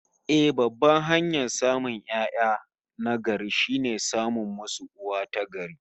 Eh, babban hanyar samun 'ya'ya na gari, shine samun musu uwa ta gari